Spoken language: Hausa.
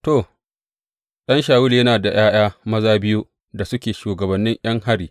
To, ɗan Shawulu yana da ’ya’ya maza biyu da suke shugabannin ’yan hari.